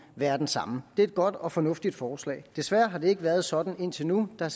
være den samme det er et godt og fornuftigt forslag desværre har det ikke været sådan indtil nu der